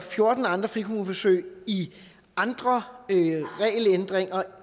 fjorten andre frikommuneforsøg i andre regelændringer